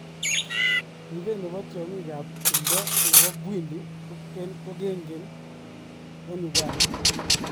Ribee ne bo tiong'ing ab timdo ne bo Bwindi ko kengen eng Uganda.